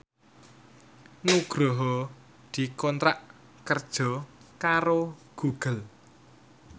Nugroho dikontrak kerja karo Google